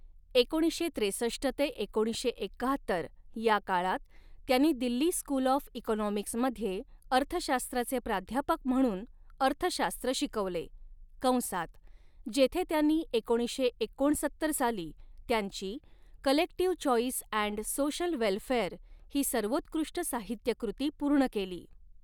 एकोणीसशे त्रेसष्ट ते एकोणीसशे एक्काहत्तर या काळात त्यांनी दिल्ली स्कूल ऑफ इकॉनॉमिक्समध्ये अर्थशास्त्राचे प्राध्यापक म्हणून अर्थशास्त्र शिकवले, कंसात जेथे त्यांनी एकोणीसशे एकोणसत्तर साली त्यांची 'collective choice and social welfare' ही सर्वोत्कृष्ट साहित्यकृती पूर्ण केली.